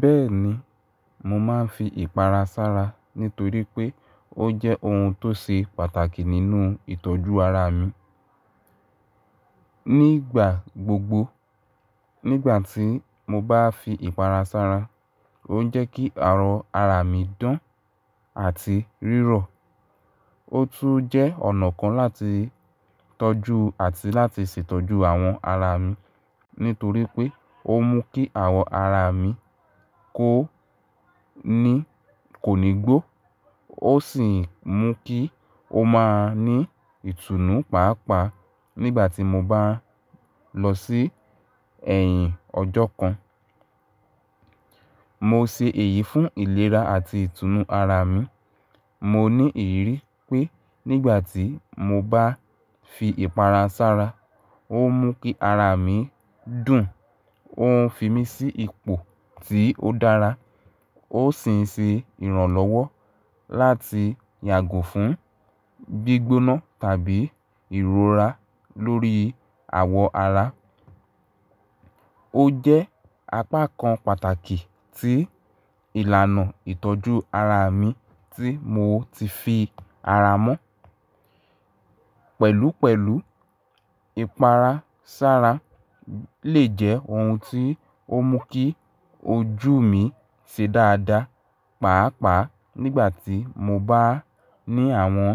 Bẹ́ẹ̀ni, mo máa ń fi ìpara sára nítorí pé ó jẹ́ ohun tó ṣe pàtàkì nínú ìtọ́jú ara mi. Nígbà gbogbo, nígbà tí mo bá fi ìpara sára, ó ń jẹ́ kí ara mi dán àti rírọ̀. Ó tún jẹ́ ọ̀nà kan láti tọ́jú àti láti ṣètọ́jú àwọn ara mi nítorí pé ó mú kí àwọ̀ ara mi kó ní kò ní gbó. Ó sì ń mú kí ó máa ní ìtùnú pàápàá nígbà tí mo bá ń lọ sí ẹ̀yìn ọjọ́ kan. Mo ṣe èyí fún ìlera àti ìtùnú ara mi. Mo ní ìrírí pé nígbà tí mo bá fi ìpara sára, ó ń mú kí ara mi dùn, ó ń fi mí sí ipò tí ó dára, ó sì ń ṣe ìrànlọ́wọ́ láti yàgò fún gbígbóná tàbí ìrora lórí àwọ̀ ara. Ó jẹ́ apá kan pàtàkì tí ìlànà ìtọ́jú ara mi tí mo ti fi ara mọ́. Pẹ̀lúpẹ̀lú, ìpara sára lè jẹ́ ohun tí ó mú kí ojú mi ṣe dáadáa. Pàápàá nígbà tí mo bá ní àwọn